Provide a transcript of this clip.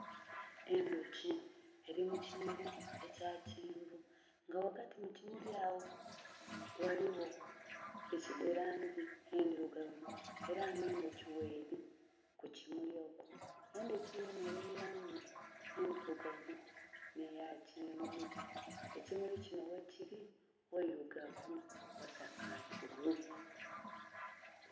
Endhoki eli mu kimuli ekya kyenvu nga ghagati mukimuli agho ghaligho langi endhirugavu era nga endhoki gheri ku kimuli ekyo, endhoki yonha eri mu langi endhirugavu nhe ya kyenvu. Ekimuli kinho ghe kili ghairugavu ghasakatuvu.